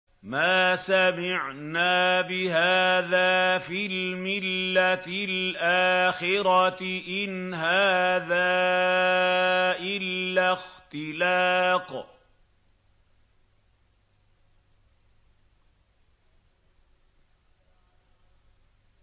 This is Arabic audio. مَا سَمِعْنَا بِهَٰذَا فِي الْمِلَّةِ الْآخِرَةِ إِنْ هَٰذَا إِلَّا اخْتِلَاقٌ